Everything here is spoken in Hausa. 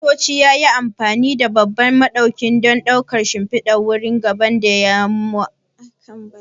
Daraktoci yayi amfani da babban ɗauka don ɗaukar shimfidar wuri gaba ɗaya da mu'amalar jarumai a cikin mahalli.